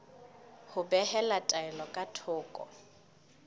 ho behela taelo ka thoko